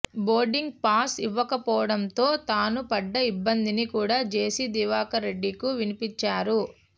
boarding pass ఇవ్వకపోవడంతో తాను పడ్డ ఇబ్బందిని కూడ జెసి దివాకర్రెడ్డి కూ వినిపించారు